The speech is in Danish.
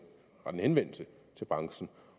henvendelse til branchen